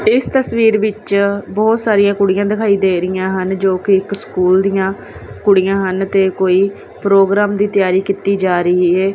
ਇਸ ਤਸਵੀਰ ਵਿੱਚ ਬਹੁਤ ਸਾਰੀਆਂ ਕੁੜੀਆਂ ਦਿਖਾਈ ਦੇ ਰਹੀਆਂ ਹਨ ਜੋ ਕਿ ਇੱਕ ਸਕੂਲ ਦੀਆਂ ਕੁੜੀਆਂ ਹਨ ਤੇ ਕੋਈ ਪ੍ਰੋਗਰਾਮ ਦੀ ਤਿਆਰੀ ਕੀਤੀ ਜਾ ਰਹੀ ਹੈ।